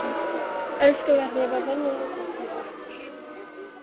Elsku barn, ég er bara venjulegur karlmaður.